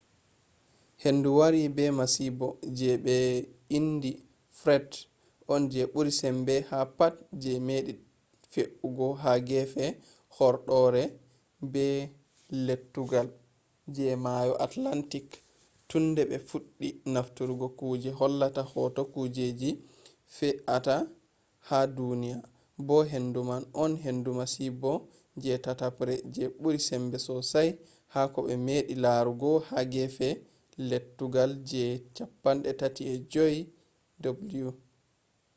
hendu wari be masibo je ɓe indi fred on je ɓuri sembe ha pat je meɗi fe’ugo ha gefe horɗoore be lettugal je mayo atlantik tun de ɓe fuɗɗi nafturgo kuje hollata hoto kujeji fe a ta ha duniya bo hendu man on hendu masibo je tatabre je ɓuri sembe sosai ha koɓe meɗi larugo ha gefe lettugal je 35ow